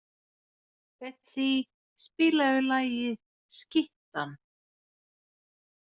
Betsý, spilaðu lagið „Skyttan“.